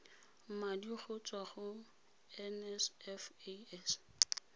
madi go tswa go nsfas